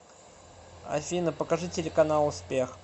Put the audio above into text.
афина покажи телеканал успех